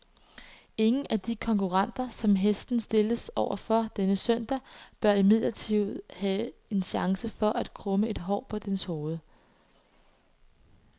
Ingen af de konkurrenter, som hesten stilles over for denne søndag, bør imidlertid have en chance for at krumme et hår på dens hoved.